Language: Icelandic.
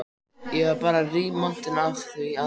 Ég var bara rígmontin yfir því að